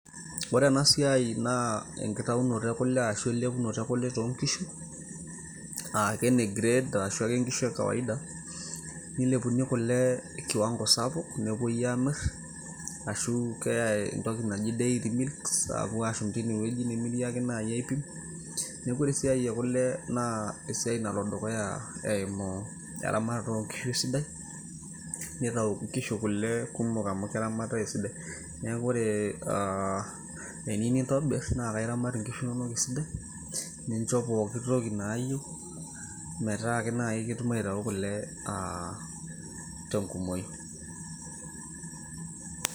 ore ena siai naa enkitaunoto e kule ashu elepunoto e kule toonkishu aa ke ne grade arashu ake inkishu e kawaida nilepuni kule kiwango sapuk nepuoi aamirr ashu keyay entoki naji dairy milks aapuo aashum tine wueji nemiri ake naaji aipim neeku ore esiai e kule naa esiai nalo dukuya eimu eramatata oonkishu esidai nitau inkishu kule kumok amu keramatitay esidai neeku ore aa eniu nintobirr naa akairamat inkishu inonok esidai nincho poki toki naayieu metaa ake naaji ketum aitau kule tenkumoki.